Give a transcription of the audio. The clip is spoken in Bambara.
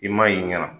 I m'a y'i ɲɛna